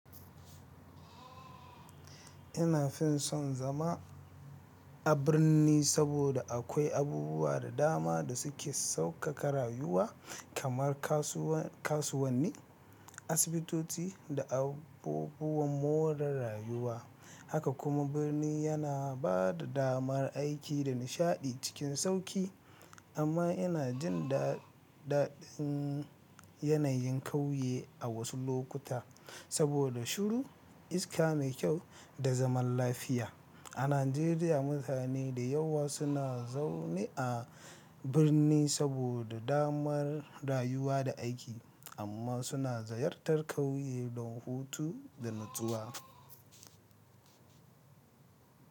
Ina fin son zama a birni saboda akwai abubuwa da dama da suke saukaka rayuwa, kamar kasuwanni, asibitoci da abubuwan more rayuwa. Haka kuma birni yana ba da damar aiki da nishaɗi cikin sauƙi. Amma yana jin da daɗin yanayin ƙauye a wasu lokuta saboda shiru, iska mai kyau da zaman lafiya. A Najeriya, mutane da yawa suna zaune a birni saboda damar rayuwa da aiki amma suna ziyartar ƙauye don hutu da natsuwa.